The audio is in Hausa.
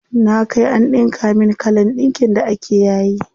Na kai an ɗinka min kalan ɗinkin da ake yayi.